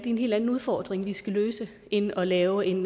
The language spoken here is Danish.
en helt anden udfordring vi skal løse end at lave en